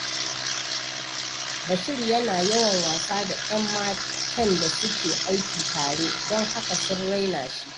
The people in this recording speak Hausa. Bashir yana yawan wasa da ‘yan matan da suke aiki tare, don haka sun raina shi.